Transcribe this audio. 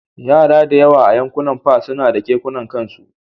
Yara da yawa a Yankunan F suna da kekuna na kansu